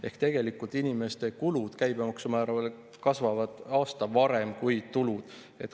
Ehk tegelikult inimeste kulud käibemaksumäära tõttu kasvavad aasta varem kui tulud.